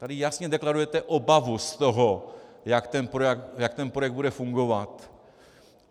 Tady jasně deklarujete obavu z toho, jak ten projekt bude fungovat.